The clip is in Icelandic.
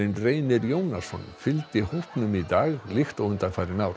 Reynir Jónasson fylgdi hópnum í dag líkt og undanfarin ár